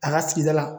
A ka sigida la